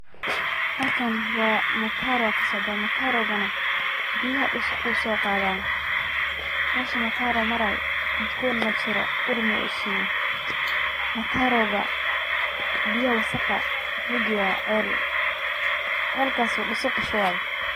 Halkan waa, mataro aa kasocda, matarogana biyaha dhusuq uu soo qaada, mesha mataro maray udgon majiro ur ma oshiye, mataroga biya wasaqaa wuxuu geya cel, celkaas oo dhusuq kashubay